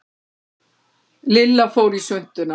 Lilla fór í svuntuna.